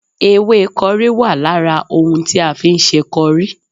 Ewé kọrí wà lára ohun tí a fi ń ṣe kọrí